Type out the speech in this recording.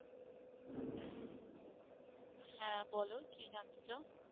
হ্যাঁ বলো কি জানতে চাও?